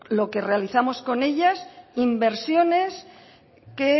lo que realizamos con ellas inversiones que